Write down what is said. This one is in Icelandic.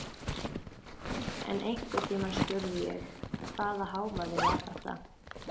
En einhvern tímann spurði ég: Hvaða hávaði var þetta?